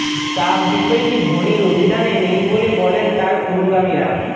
চাপ বিষয়টি ধোনির অভিধানে নেই বলে বলেন তার অনুগামীরা